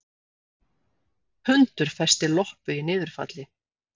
Hundur festi loppu í niðurfalli